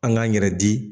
An k'an yɛrɛ di